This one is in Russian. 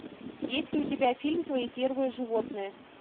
есть ли у тебя фильм твои первые животные